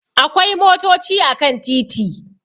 Akwai motochi a kan titi